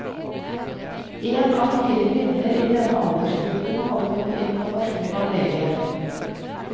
En av fire kvinner i denne aldersgruppen hadde fått informasjon av lege.